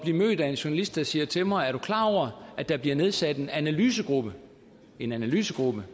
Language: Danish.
mødt af en journalist der siger til mig er du klar over at der bliver nedsat en analysegruppe en analysegruppe